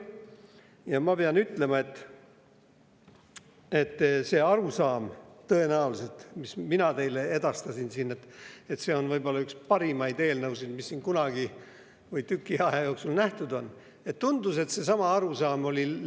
Ja ma pean ütlema, et tundus, et see arusaam, mille mina teile siin edastasin – et see on võib-olla üks parimaid eelnõusid, mida siin kunagi või tüki aja jooksul nähtud on – oli kogu õiguskomisjonil.